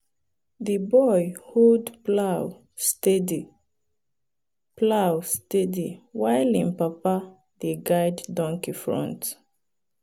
the boy hold plow steady plow steady while him papa dey guide donkey front.